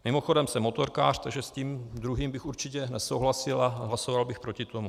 Mimochodem, jsem motorkář, takže s tím druhým bych určitě nesouhlasil a hlasoval bych proti tomu.